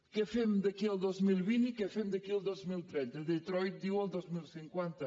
què fem d’aquí al dos mil vint i què fem d’aquí al dos mil trenta detroit diu el dos mil cinquanta